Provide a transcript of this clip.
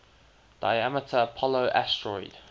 diameter apollo asteroid